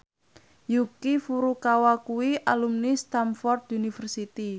Yuki Furukawa kuwi alumni Stamford University